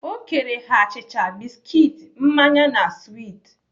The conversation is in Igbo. O kere ha achịcha, biskit, mmanya na swit.